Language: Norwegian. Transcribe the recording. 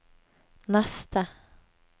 neste